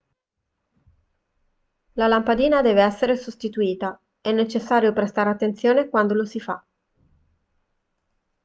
la lampadina deve essere sostituita è necessario prestare attenzione quando lo si fa